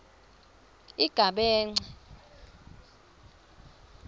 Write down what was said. igabence